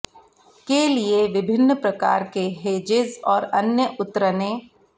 के लिए विभिन्न प्रकार के हेजेज और अन्य उतरने